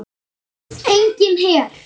Enginn her.